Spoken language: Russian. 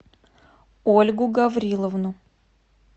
ольгу гавриловну